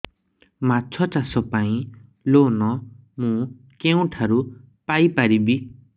ମାଛ ଚାଷ ପାଇଁ ଲୋନ୍ ମୁଁ କେଉଁଠାରୁ ପାଇପାରିବି